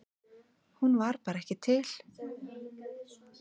Hún var bara ekki til.